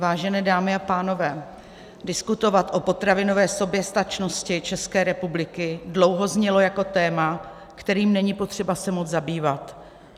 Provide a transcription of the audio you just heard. Vážené dámy a pánové, diskutovat o potravinové soběstačnosti České republiky dlouho znělo jako téma, kterým není potřeba se moc zabývat.